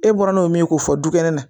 E bɔra n'o min ye k'o fɔ dukɛnɛ na